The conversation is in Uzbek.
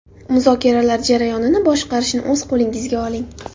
Muzokaralar jarayonini boshqarishni o‘z qo‘lingizga oling.